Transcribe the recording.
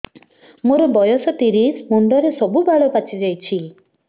ମୋର ବୟସ ତିରିଶ ମୁଣ୍ଡରେ ସବୁ ବାଳ ପାଚିଯାଇଛି